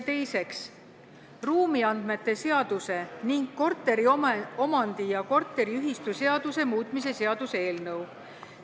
Teiseks, ruumiandmete seaduse ning korteriomandi- ja korteriühistuseaduse muutmise seaduse eelnõu.